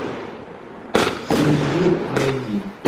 синевир найди